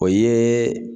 O ye